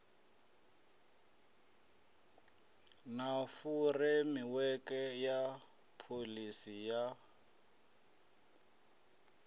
na furemiweke ya pholisi ya